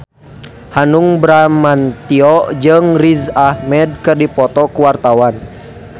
Hanung Bramantyo jeung Riz Ahmed keur dipoto ku wartawan